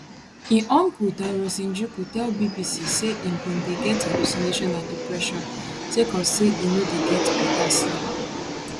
im uncle tirus njuki tell bbc say im bin dey get hallucination and depression sake of say im no dey get beta sleep